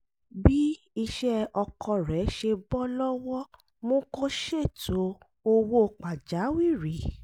bí iṣẹ́ ọkọ rẹ̀ ṣe bọ́ lọ́wọ́ mú kó ṣètò owó pàjáwìrì